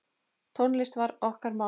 Tónlist var okkar mál.